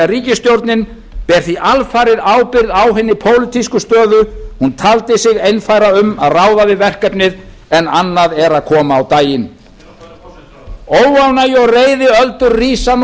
ríkisstjórnin ber því alfarið ábyrgð á hinni pólitísku stöðu hún taldi sig einfæra um að ráða við verkefnið en annað er að koma á daginn óánægju og reiðiöldur rísa nú hátt